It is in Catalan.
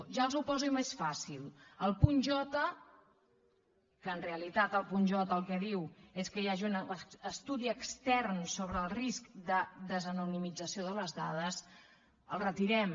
ja els ho poso més fàcil el punt jpunt j el que diu és que hi hagi un estudi extern sobre el risc de desanonimització de les dades el retirem